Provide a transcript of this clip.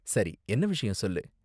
சரி, என்ன விஷயம் சொல்லு?